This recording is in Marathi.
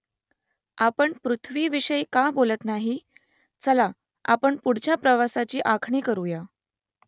आपण पृथ्वीविषयी का बोलत नाही ? चला , आपण पुढच्या प्रवासाची आखणी करुया